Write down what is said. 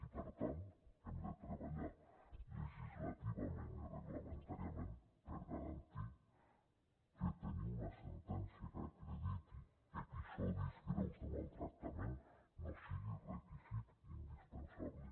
i per tant hem de treballar legislativament i reglamentàriament per garantir que tenir una sentència que acrediti episodis greus de maltractament no sigui requisit indispensable